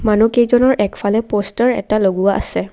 মানুহকেইজনৰ একফালে প'ষ্টাৰ এটা লগোৱা আছে।